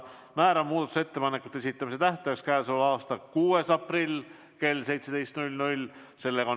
Määran muudatusettepanekute esitamise tähtajaks k.a 6. aprilli kell 17.